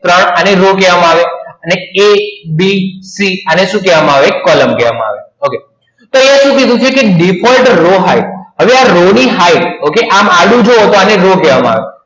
ત્રણ અને row કહેવામાં આવે એટલે કે abc આને શું કહેવામાં આવે column કહેવામાં આવે okay તો એને શું કીધું છે કે default row hight એટલે જુઓ તો row કહેવામાં આવે